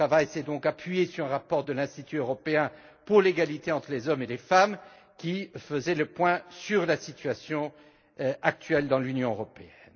Notre travail s'est appuyé sur un rapport de l'Institut européen pour l'égalité entre les hommes et les femmes, qui faisait le point sur la situation actuelle dans l'Union européenne.